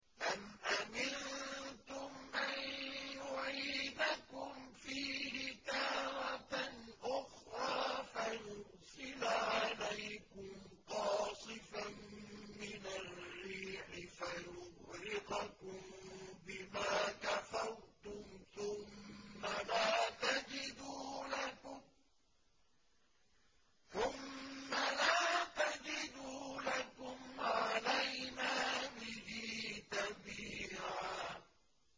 أَمْ أَمِنتُمْ أَن يُعِيدَكُمْ فِيهِ تَارَةً أُخْرَىٰ فَيُرْسِلَ عَلَيْكُمْ قَاصِفًا مِّنَ الرِّيحِ فَيُغْرِقَكُم بِمَا كَفَرْتُمْ ۙ ثُمَّ لَا تَجِدُوا لَكُمْ عَلَيْنَا بِهِ تَبِيعًا